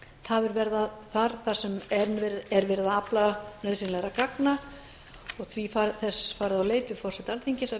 tafir verða þar á þar sem verið er að afla nauðsynlegra gagna og því er þess farið á leit við forseta alþingis að